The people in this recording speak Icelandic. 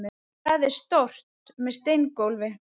Það er stórt, með steingólfi.